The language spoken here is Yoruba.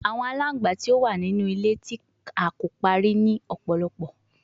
Awọn alangba ti o wa ninu ile ti a ko pari ni ọpọlọpọ